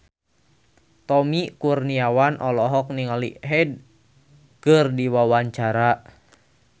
Tommy Kurniawan olohok ningali Hyde keur diwawancara